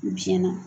Biyɛn na